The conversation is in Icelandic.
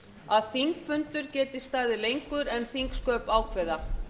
að þingfundur geti staðið lengur en þingsköp ákveða